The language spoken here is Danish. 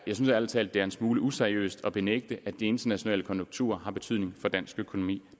ærlig talt det er en smule useriøst at benægte at de internationale konjunkturer har betydning for dansk økonomi